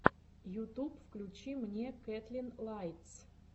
ютуб включи мне кэтлин лайтс